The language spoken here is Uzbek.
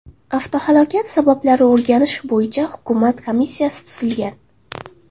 Avtohalokat sabablari o‘rganish bo‘yicha Hukumat komissiyasi tuzilgan.